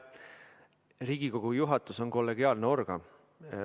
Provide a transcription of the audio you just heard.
Riigikogu juhatus on kollegiaalne organ.